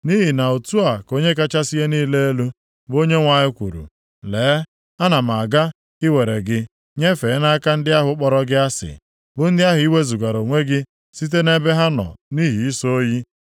“Nʼihi na otu a ka Onye kachasị ihe niile elu, bụ Onyenwe anyị kwuru: Lee, ana m aga iwere gị nyefee nʼaka ndị ahụ kpọrọ gị asị, bụ ndị ahụ ị wezugara onwe gị site nʼebe ha nọ nʼihi ịsọ oyi.